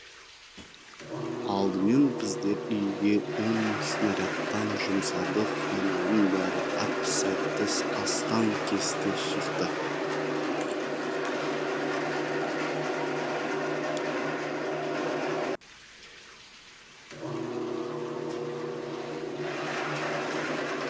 алдымен біздер үйге он снарядтан жұмсадық айналаның бәрі әп сәтті астаң кесті шықты